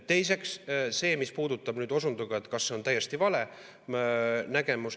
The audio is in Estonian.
Teiseks see, mis puudutab seda, kas see on täiesti vale nägemus.